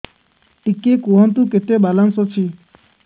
ଟିକେ କୁହନ୍ତୁ କେତେ ବାଲାନ୍ସ ଅଛି